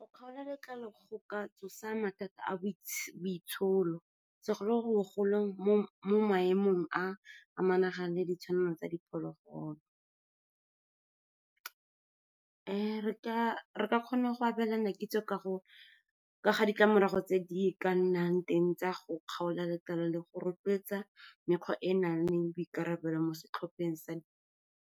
Go kgaola letlalo go ka tsosa mathata a boitsholo, segolobogolo mo maemong a monagano le ditshwanelo tsa diphologolo. Re ka kgona go abelana kitso ka kaga ditlamorago tse di ka nnang teng tsa go kgaola letlalo, le go rotloetsa mekgwa e e nang le boikarabelo mo setlhopheng sa.